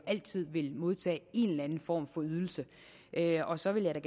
altid modtage en eller anden form for ydelse og så vil jeg da